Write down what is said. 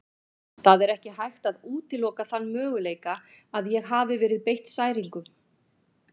Það er ekki hægt að útiloka þann möguleika að ég hafi verið beitt særingum.